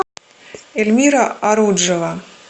эльмира аруджева